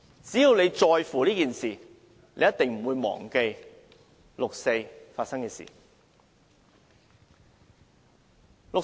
只要大家在乎這件事，便一定不會忘記六四發生的事。